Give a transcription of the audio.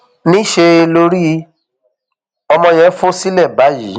níṣẹ lorí ọmọ yẹn fò sílẹ báyìí